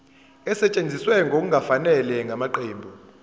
esetshenziswe ngokungafanele ngamaqembu